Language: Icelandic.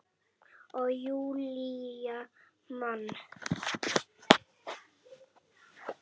Og Júlía man.